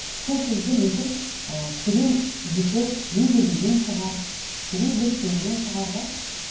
сол кезде мүмкін ы терең жіті меңгермеген шығар терең зерттемеген шығар да